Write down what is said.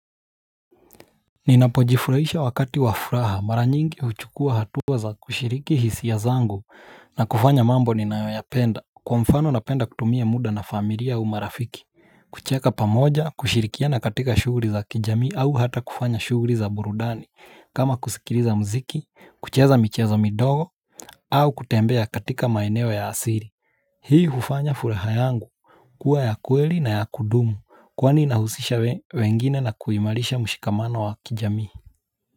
Ninapojifurahisha wakati wa furaha mara nyingi huchukua hatua za kushiriki hisia zangu na kufanya mambo ninayoyapenda. Kwa mfano napenda kutumia muda na familia au marafiki kucheka pamoja kushirikiana katika shughuli za kijaii au hata kufanya shughuli za burudani. Kama kusikiliza mziki, kucheza michezo midogo au kutembea katika maeneo ya asili. Hii hufanya furaha yangu kua ya kweli na ya kudumu kwani nahusisha wengine na kuimarisha mushikamano wa kijamii. Kwa hivyo.